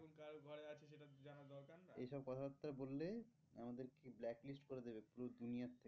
এই সব কথা বার্তা বললে আমাদের blacklist করে দেবে পুরো থেকে